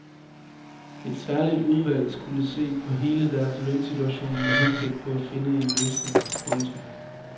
Et særligt udvalg skulle se på hele deres lønsituation med henblik på at finde en løsning. punktum